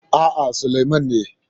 A'a, Sulaiman ne.